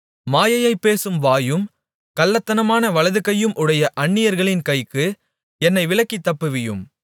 மாயையைப் பேசும் வாயும் கள்ளத்தனமான வலதுகையும் உடைய அந்நியர்களின் கைக்கு என்னை விலக்கித் தப்புவியும்